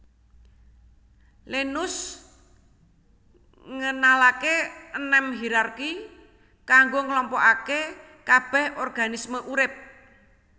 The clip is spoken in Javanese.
Linneaus ngenalaké enem hierarki kanggo nglompokaké kabèh organisme urip